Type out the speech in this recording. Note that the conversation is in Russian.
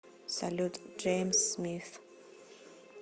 салют джеймс смиф